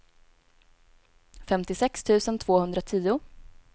femtiosex tusen tvåhundratio